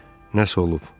Nəsə olub.